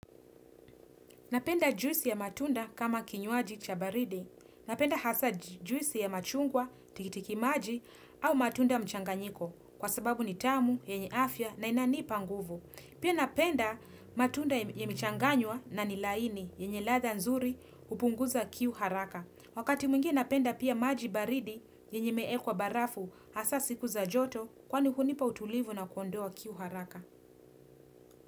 Napenda juisi ya matunda kama kinyuaji cha baridi. Napenda hasa juisi ya machungwa, tikitiki maji au matunda mchanganyiko kwa sababu ni tamu, yenye afya na inanipa nguvu. Pia napenda matunda yamechanganywa na ni laini, yenye ladha nzuri, hupunguza kiu haraka. Wakati mwingine napenda pia maji baridi, yenye imeekwa barafu, hasa siku za joto kwani hunipa utulivu na kuondoa kiu haraka.